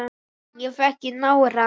Ég fékk í nárann.